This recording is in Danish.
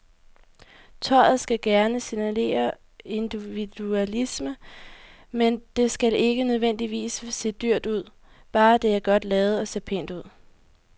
Tøjet skal gerne signalere individualisme, men det skal ikke nødvendigvis se dyrt ud, bare det er godt lavet og ser pænt ud.